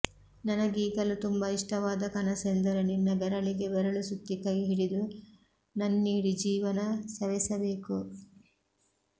ನನಗೀಗಲೂ ತುಂಬಾ ಇಷ್ಟವಾದ ಕನಸೆಂದರೆ ನಿನ್ನ ಬೆರಳಿಗೆ ಬೆರಳು ಸುತ್ತಿ ಕೈ ಹಿಡಿದು ನನ್ನೀಡಿ ಜೀವನ ಸವೆಸಬೇಕು